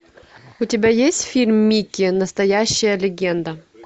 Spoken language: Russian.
у тебя есть фильм микки настоящая легенда